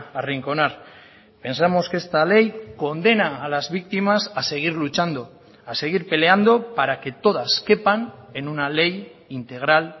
arrinconar pensamos que esta ley condena a las víctimas a seguir luchando a seguir peleando para que todas quepan en una ley integral